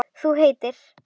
Þú heitir?